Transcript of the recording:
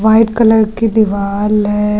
White colour की दीवाल है।